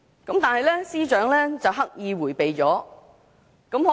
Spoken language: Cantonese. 但是，司長刻意迴避了也這問題。